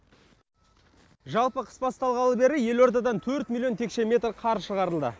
жалпы қыс басталғалы бері елордадан төрт миллион текше метр қар шығарылды